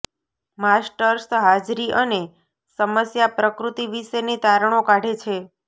masters હાજરી અને સમસ્યા પ્રકૃતિ વિશેની તારણો કાઢે છે